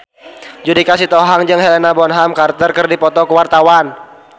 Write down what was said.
Judika Sitohang jeung Helena Bonham Carter keur dipoto ku wartawan